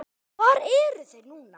Hvar eru þeir núna?